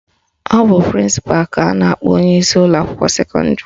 Ọ bụ prịnsịpalụ ka a na-akpọ onyeisi ụlọakwụkwọ sekọndịrị